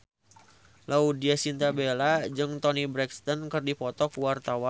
Laudya Chintya Bella jeung Toni Brexton keur dipoto ku wartawan